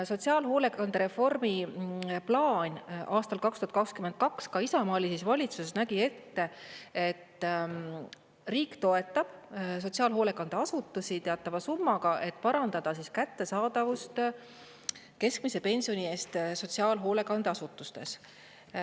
Sotsiaalhoolekande reformi plaan aastal 2022, ka Isamaa oli siis valitsuses, nägi ette, et riik toetab sotsiaalhoolekandeasutus teatava summaga, et parandada kättesaadavust keskmise pensioni eest sotsiaalhoolekandeasutustes.